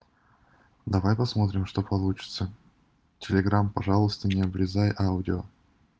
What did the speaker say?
давай посмотрим что получится телеграм пожалуйста не обрезай аудио